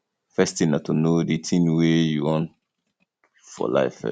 first thing na to know di thing wey you want for life first